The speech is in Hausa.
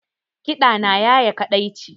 Kiɗa na ya ye kaɗaici